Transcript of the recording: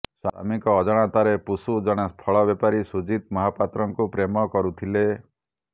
ସ୍ୱାମୀଙ୍କ ଅଜାଣତରେ ପୁଷୁ ଜଣେ ଫଳ ବେପାରୀ ସୁଜିତ ମହାପାତ୍ରଙ୍କୁ ପ୍ରେମ କରୁଥିଲେ